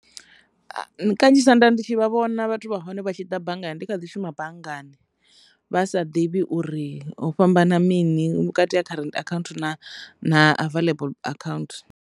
Kanzhisa nda ndi tshi vhona vhathu vha hone vha tshi ḓa banngani ndi kha ḓi shuma banngani vha sa ḓivhi uri ho fhambana mini vhukati ha current account na available account.